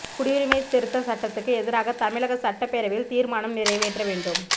குடியுரிமை திருத்தச் சட்டத்துக்கு எதிராக தமிழக சட்டப் பேரவையில் தீா்மானம் நிறைவேற்ற வேண்டும்